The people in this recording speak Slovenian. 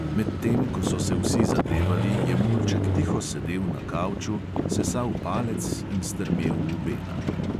Medtem ko so se vsi zadevali, je mulček tiho sedel na kavču, sesal palec in strmel v bena.